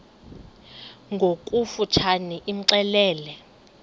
ngokofu tshane imxelele